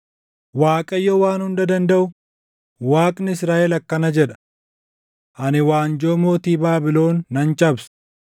“ Waaqayyo Waan Hunda Dandaʼu, Waaqni Israaʼel akkana jedha; ‘Ani waanjoo mootii Baabilon nan cabsa.